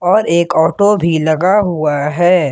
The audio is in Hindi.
और एक ऑटो भी लगा हुआ है।